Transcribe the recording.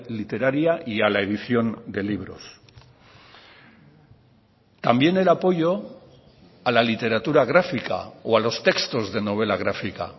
literaria y a la edición de libros también el apoyo a la literatura gráfica o a los textos de novela gráfica